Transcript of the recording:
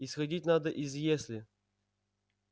исходить надо из если